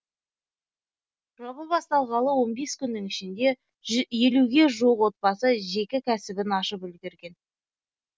жоба басталғалы он бес күннің ішінде елуге жуық отбасы жеке кәсібін ашып үлгерген